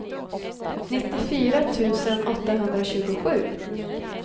nittiofyra tusen åttahundratjugosju